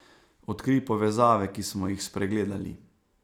Odkrij povezave, ki smo jih spregledali.